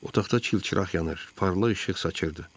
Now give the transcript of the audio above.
Otaqda çilçıraq yanır, parlaq işıq saçırdı.